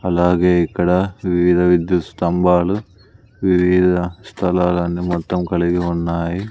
అలాగే ఇక్కడా వివిధ విద్యుత్ స్తంభాలు వివిధ స్థలాలన్ని మొత్తం కలిగి ఉన్నాయి.